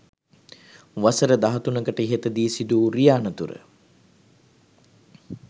වසර දහතුනකට ඉහතදී සිදුවූ රිය අනතුර